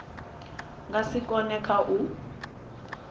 nga si kone kha u